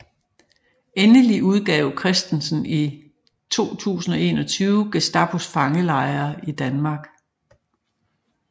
Endelig udgav Kristensen i 2021 Gestapos fangelejre i Danmark